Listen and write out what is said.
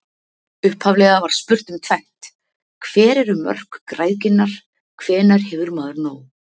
Upphaflega var spurt um tvennt: Hver eru mörk græðginnar, hvenær hefur maður nóg?